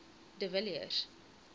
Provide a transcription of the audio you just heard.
de villiers